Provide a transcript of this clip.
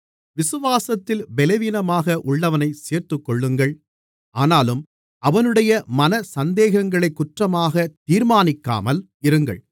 விசுவாசத்தில் பலவீனமாக உள்ளவனைச் சேர்த்துக்கொள்ளுங்கள் ஆனாலும் அவனுடைய மன சந்தேகங்களைக் குற்றமாக தீர்மானிக்காமல் இருங்கள்